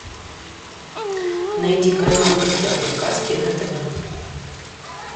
найди канал в гостях у сказки на тв